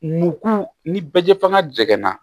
Mugu ni bɛɛ fanga dɛgɛnna